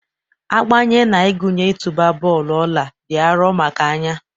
Agbanye na-agụnye ịtụba bọọlụ ọla dị arọ maka anya.